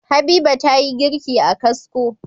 Habiba tayi girki a kasko